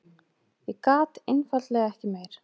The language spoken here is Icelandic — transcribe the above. Ég gat einfaldlega ekki meir.